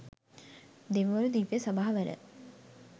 දෙවිවරු දිව්‍ය සභාවල